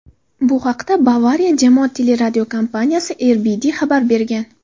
Bu haqda Bavariya jamoat teleradiokompaniyasi br.de xabar bergan.